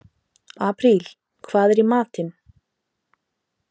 Apríl, hvað er í matinn?